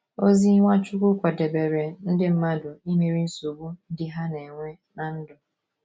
Ozi Nwachukwu kwadebere ndị mmadụ imeri nsogbu ndị ha na - enwe ná ndụ